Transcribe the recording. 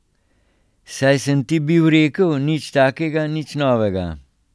Saj sem ti bil rekel, nič takega, nič novega.